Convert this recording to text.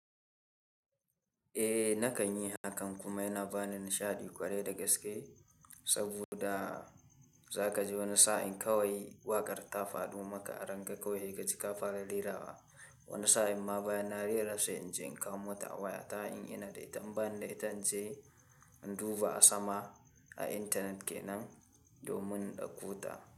Eh nakan yi hakan kuma yana ba ni nishaɗi ƙwarai da gaske. Saboda za ka ji wani sa'in kawai waƙar ta faɗi maka a ranka kawai, haka kika fara rera wa wani sa'in ma baya na rera sai in je in kawo ta a waya ta in ina da ita, in bani da ita in je in duba a sama a internet ke nan domin in dauko ta.